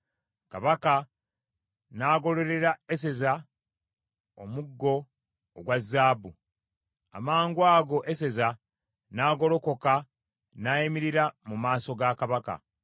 Kabaka n’agololera Eseza omuggo ogwa zaabu, amangu ago Eseza n’agolokoka n’ayimirira mu maaso ga Kabaka.